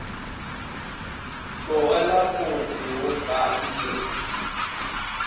tlogela motse wo ka iri